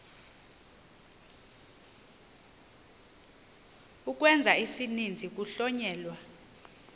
ukwenza isininzi kuhlonyelwa